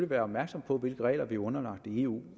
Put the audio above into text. være opmærksom på hvilke regler vi er underlagt i eu